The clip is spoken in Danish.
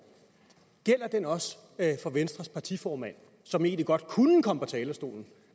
også for venstres partiformand som egentlig godt kunne komme på talerstolen